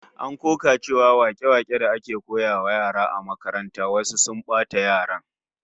An koka cewa wake-waken da ake koyawa yara a makaranta wasu sun bata yaran